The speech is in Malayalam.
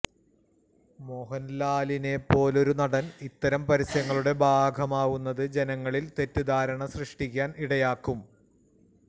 മോഹന്ലാലിനെ പോലൊരു നടന് ഇത്തരം പര്യസങ്ങളുടെ ഭാഗമാവുന്നത് ജനങ്ങളില് തെറ്റിദ്ധാരണ സൃഷ്ടിക്കാന് ഇടയാക്കും